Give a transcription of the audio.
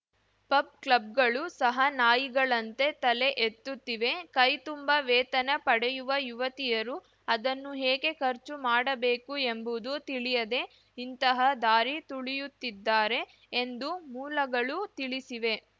pub ಕ್ಲಬ್‌ಗಳು ಸಹ ನಾಯಿಗಳಂತೆ ತಲೆ ಎತ್ತುತ್ತಿವೆ ಕೈತುಂಬಾ ವೇತನ ಪಡೆಯುವ ಯುವತಿಯರು ಅದನ್ನು ಹೇಗೆ ಖರ್ಚು ಮಾಡಬೇಕು ಎಂಬುವುದು ತಿಳಿಯದೆ ಇಂತಹ ದಾರಿ ತುಳಿಯುತ್ತಾರೆ ಎಂದು ಮೂಲಗಳು ತಿಳಿಸಿವೆ